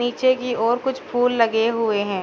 पीछे की ओर कुछ फूल लगे हुए हैं।